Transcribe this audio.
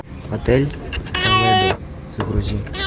отель толедо загрузи